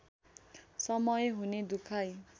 समय हुने दुखाइ